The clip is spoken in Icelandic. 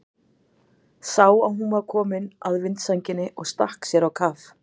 Sá að hún var komin að vindsænginni og stakk sér á kaf.